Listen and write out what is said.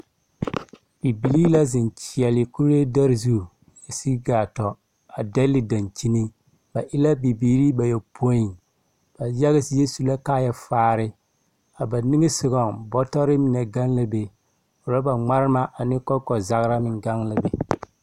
Bibilii la zeŋ kyeɛle kuree dare zu sigi gaa tɔ, a dɛle dankyini. Ba e la bibiiri bayɔpoi. Bayaga zie zaa su la kaaya fare. A ba niŋe sogɔŋ, bɔtɔre mine gaŋ la be, rɔba ŋmarema ane kɔŋkɔzagra gaŋ la be.